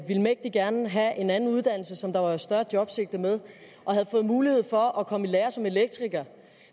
vil mægtig gerne have en anden uddannelse som der er større jobsigte med og havde mulighed for at komme i lære som elektriker